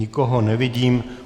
Nikoho nevidím.